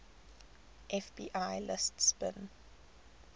fbi lists bin